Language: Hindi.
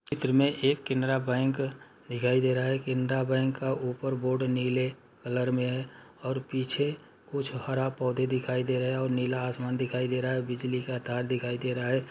चित्र में एक केनरा बैंक दिखाई दे रहा है। केनरा बैंक का ऊपर बोर्ड नीले कलर में है और पीछे कुछ हरा पौधे दिखाई दे रहे और नीला आसमान दिखाई दे रहा है। बिजली का तार दिखाई दे रहा है।